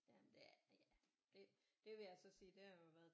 Jamen det er ja det vil jeg så sige det har jo været